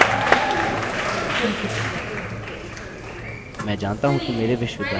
आप इसके माध्यम से ईमेल भेजने के लिए सक्षम होंगे